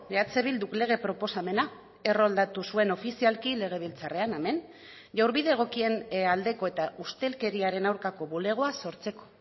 eh bilduk lege proposamena erroldatu zuen ofizialki legebiltzarrean hemen jaurbide egokien aldeko eta ustelkeriaren aurkako bulegoa sortzeko